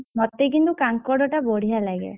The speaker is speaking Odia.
ମତେ କିନ୍ତୁ କାଙ୍କଡ ଟା ବଢିଆ ଲାଗେ।